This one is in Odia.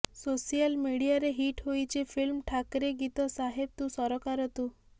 ସୋସିଆଲ ମିଡିଆରେ ହିଟ୍ ହୋଇଛି ଫିଲ୍ମ ଠାକରେ ଗୀତ ସାହେବ ତୁ ସରକାର ତୁ